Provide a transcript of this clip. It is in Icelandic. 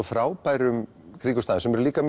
frábærum kringumstæðum sem eru líka